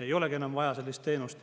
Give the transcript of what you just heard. ei olegi enam vaja sellist teenust.